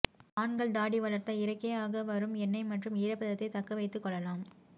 ஆண்கள் தாடி வளர்த்தால் இயற்கையாக வரும் எண்ணெய் மற்றும் ஈரப்பதத்தை தக்க வைத்துக்கொள்ளலாம்